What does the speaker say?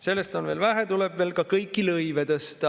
Sellest on veel vähe, tuleb veel ka kõiki lõive tõsta.